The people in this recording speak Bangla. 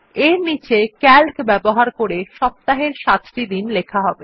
এর নীচে সিএএলসি ব্যবহার করে সপ্তাহের সাতটি দিন লেখা হবে